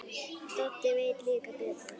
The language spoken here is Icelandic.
Doddi veit líklega betur.